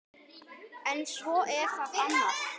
En svo er það annað.